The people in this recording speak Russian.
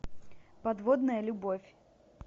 подводная любовь